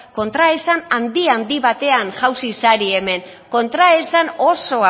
kontraesan handi handi batean jauzi zarete hemen kontraesan oso